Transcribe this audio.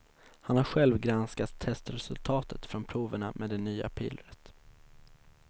Han har själv granskat testresultaten från proverna med det nya pillret.